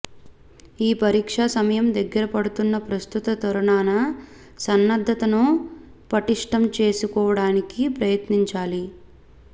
ఈ పరీక్ష సమయం దగ్గరపడుతున్న ప్రస్తుత తరుణాన సన్నద్ధతను పటిష్ఠం చేసుకోవడానికి ప్రయత్నించాలి